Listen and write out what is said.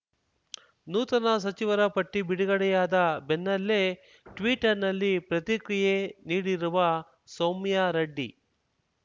ನೂತನ ಸಚಿವರ ಪಟ್ಟಿಬಿಡುಗಡೆಯಾದ ಬೆನ್ನಲ್ಲೇ ಟ್ವೀಟರ್‌ನಲ್ಲಿ ಪ್ರತಿಕ್ರಿಯೆ ನೀಡಿರುವ ಸೌಮ್ಯಾ ರೆಡ್ಡಿ